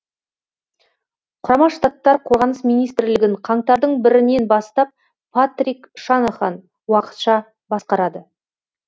құрама штаттар қорғаныс министрлігін қаңтардың бірінен бастап патрик шанахан уақытша басқарады